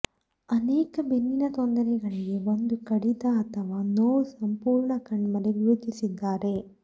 ಅನೇಕ ಬೆನ್ನಿನ ತೊಂದರೆಗಳಿಗೆ ಒಂದು ಕಡಿತ ಅಥವಾ ನೋವು ಸಂಪೂರ್ಣ ಕಣ್ಮರೆ ಗುರುತಿಸಿದ್ದಾರೆ